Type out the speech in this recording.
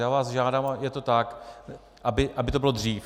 Já vás žádám, a je to tak, aby to bylo dřív.